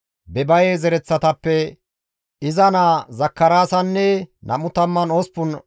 Bebaye zereththatappe iza naa Zakaraasanne 28 attumasati,